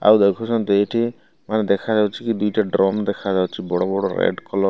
ଆଉ ଦେଖୁଛନ୍ତି ଏଠି ମାନେ ଦେଖାଯାଉଛି କି ଦି ଟା ଡ୍ରମ ଦେଖାଯାଉଛି ବଡ଼ ବଡ଼ ରେଡ଼ କଲର --